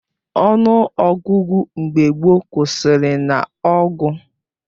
Ọnụ ọgụgụ mgbe gboo kwụsịrị nah ọgụ